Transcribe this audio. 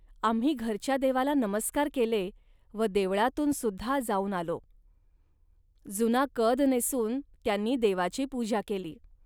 आम्ही घरच्या देवाला नमस्कार केले व देवळातून सुद्धा जाऊन आलो. जुना कद नेसून त्यांनी देवाची पूजा केली